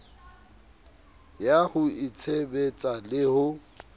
ya ho itshebetsa le ho